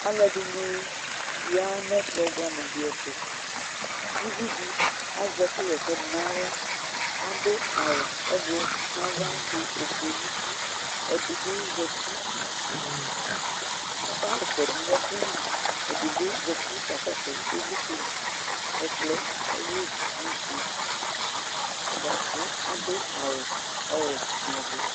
Aalʋɛɖini yaa nʋ ɛkplɔ buamʋ ɖi ɛtʋ Ʋviɖi azɛ ɛkʋ ɣaɛsɛ ɖʋ n'aɣla, aɖʋ awu ʋblɔ n'ava ɖʋ ofue n'ʋti Ɛɖibi zɛti kɔka ɣɛsɛ ɖʋ nʋ Ɛkʋli, ɛɖibi zati k'ɔkakɔsʋ ivlitsɛliƐkplɔɛ ahuii nʋ ofie' buakʋ aɖʋ awu ɔwuɛ nʋ ɔvɛ